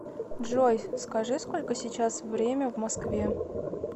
джой скажи сколько сейчас время в москве